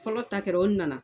Fɔlɔ ta kɛra o nana